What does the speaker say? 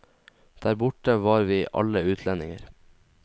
Der borte var vi alle utlendinger.